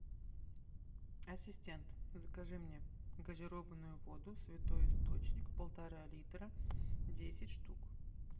ассистент закажи мне газированную воду святой источник полтора литра десять штук